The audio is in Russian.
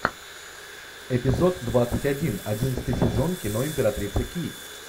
эпизод двадцать один одиннадцатый сезон кино императрица ки